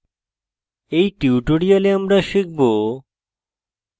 in tutorial আমরা শিখব;